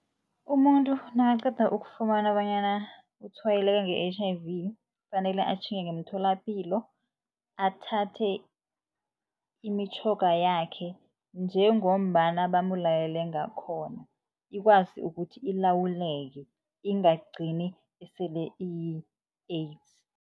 Umuntu nakaqeda ukufumana bonyana utshwayeleke nge-H_I_V kufanele atjhinge ngemtholampilo athathe imitjhoga kwayo yakhe njengombana bamulayele ngakhona ikwazi ukuthi ilawuleke ingagcini isele iyi-AIDS.